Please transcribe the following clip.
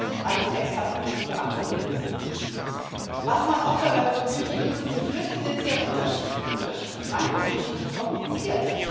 Das sind alles Extra Prüfungen, die abzulegen sind. Man muss dabei auch berücksichtigen, dass die Flüsse sehr unterschiedlich sind unterschiedlich lang, unterschiedlich kompliziert.